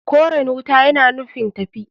Koren wuta yana nufin tafi.